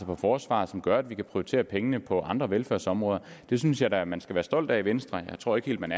for forsvaret som gør at vi kan prioritere pengene på andre velfærdsområder det synes jeg da at man skal være stolt af i venstre jeg tror ikke at man